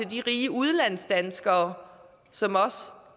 de rige udlandsdanskere som